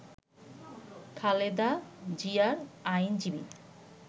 খালেদা জিয়ার আইনজীবী